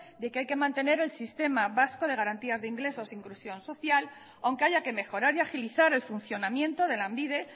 de que hay que mantener el sistema vasco de garantías de ingresos e inclusión social aunque haya que mejorar y agilizar el funcionamiento de lanbide